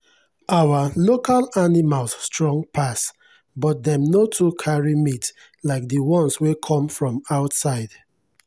our local animals strong pass but dem no too carry meat like the ones wey come from outside.